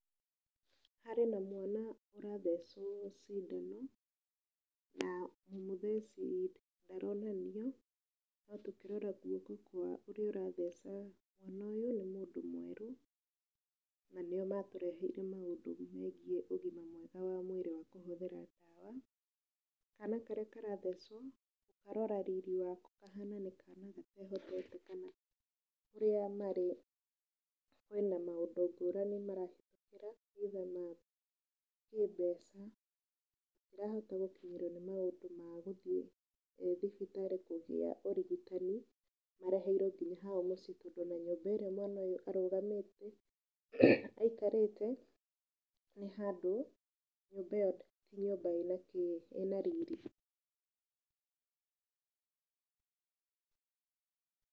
Harĩ na mwana ũrathecwo ciindano na mũmũtheci ndaronanio. No tũkĩrora guoko kwa ũrĩa ũratheca nĩ mũndũ mwerũ, na nĩo matũreheire maũndũ megie ũgima mwega wa mwĩrĩ wa kũhũthĩra ndawa. Kana karĩa karathecwo, ndarora riri wako kahana nĩ kana gatehotete kana kũrĩa marĩ kwĩna maũndũ ngũrani marahĩtũkĩra nginya ma kĩmbeca. Matirahota gũkinyĩrwo nĩ maũndũ ma gũthiĩ thibitarĩ kũgia ũrigitani. Mareheirwo nginya hao mũcii tondũ ona nyũmba ĩrĩa mwana ũyũ arũgamĩte, aikarĩĩte, nĩ handũ nyũmba iyo ti nyũmba ĩna riri.